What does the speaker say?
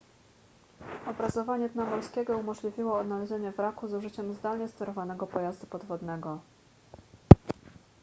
obrazowanie dna morskiego umożliwiło odnalezienie wraku z użyciem zdalnie sterowanego pojazdu podwodnego